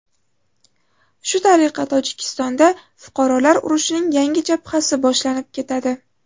Shu tariqa Tojikistonda fuqarolar urushining yangi jabhasi boshlanib ketadi.